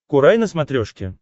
курай на смотрешке